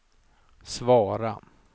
svara